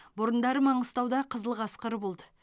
бұрындары маңғыстауда қызыл қасқыр болды